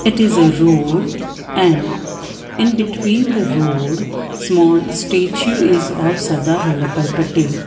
it is a road and in between the road small statue is of Sardar Vallabhbhai Patel.